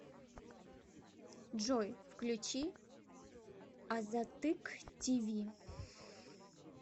джой включи азаттык ти ви